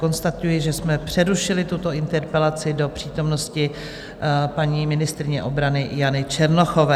Konstatuji, že jsme přerušili tuto interpelaci do přítomnosti paní ministryně obrany Jany Černochové.